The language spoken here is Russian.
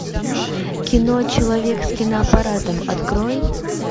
кино человек с киноаппаратом открой